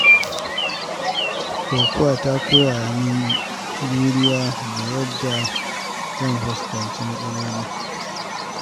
Kokawa ta koya min juriya da yadda zan fuskanci matsaloli.